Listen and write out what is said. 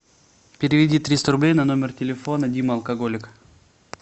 переведи триста рублей на номер телефона дима алкоголик